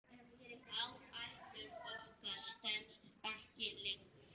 Áætlun okkar stenst ekki lengur.